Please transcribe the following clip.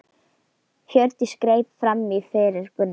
Hjördís greip fram í fyrir Gunnari.